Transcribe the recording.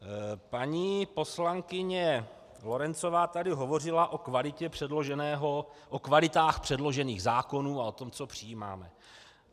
Paní poslankyně Lorencová tady hovořila o kvalitách předložených zákonů a o tom, co přijímáme.